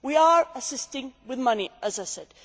We are assisting with money, as I said.